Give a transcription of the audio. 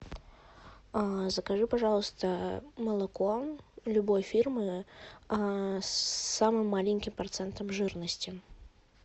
закажи пожалуйста молоко любой фирмы с самым маленьким процентом жирности